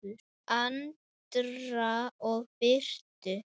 Andra og Birtu.